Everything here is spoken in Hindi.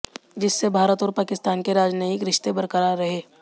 जिससे भारत और पाकिस्तान के राजनयिक रिश्ते बरकरार रहें